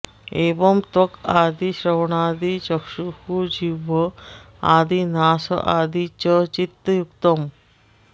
एवं त्वक् आदि श्रवणादि चक्षुः जिह्व आदि नास आदि च चित्तयुक्तम्